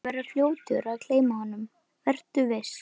Þú verður fljótur að gleyma honum, vertu viss.